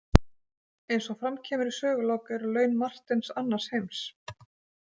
Eins og fram kemur í sögulok eru laun Marteins annars heims.